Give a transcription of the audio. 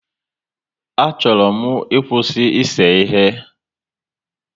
A chọrọ m ịkwụsị ise ihe